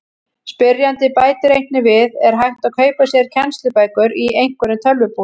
Spyrjandi bætir einnig við: Er hægt að kaupa sér kennslubækur í einhverjum tölvubúðum?